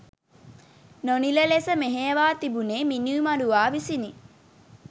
නොනිල ලෙස මෙහෙයවා තිබුණේ මිනීමරුවා විසිනි.